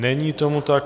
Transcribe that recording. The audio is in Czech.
Není tomu tak.